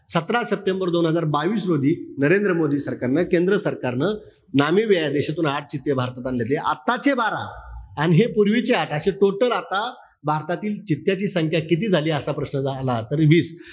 सतरा सप्टेंबर दोन हजार बावीस रोजी नरेंद्र मोदी सरकारनं, केंद्र सरकारनं नामिबिया देशातून आठ चित्ते भारतात आणले होते. आत्ताचे बारा अन हे पूर्वीचे आठ अशे total. आता भारतातील चित्त्याची संख्या किती झाली असा प्रश्न जर आला तर वीस,